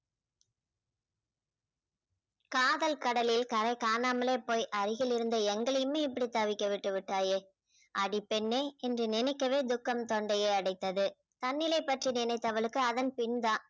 காதல் கடலில் கரை காணாமலே போய் அருகில் இருந்த எங்களையுமே இப்படி தவிக்க விட்டு விட்டாயே அடி பெண்ணே என்று நினைக்கவே துக்கம் தொண்டையை அடித்தது தன்னிலை பற்றி நினைத்தவளுக்கு அதன் பின்தான்